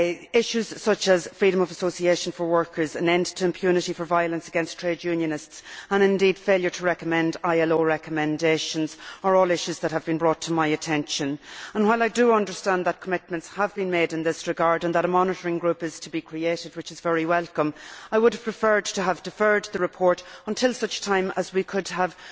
Issues such as freedom of association for workers, an end to impunity for violence against trade unionists and, indeed, failure to recommend ILO recommendations, are all issues that have been brought to my attention. While I do understand that commitments have been made in this regard and that a monitoring group is to be created, which is very welcome, I would have preferred to have deferred the report until such time as we could have